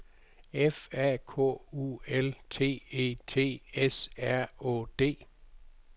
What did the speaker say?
F A K U L T E T S R Å D